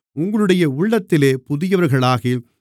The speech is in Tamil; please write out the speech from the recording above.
உங்களுடைய உள்ளத்திலே புதியவர்களாகி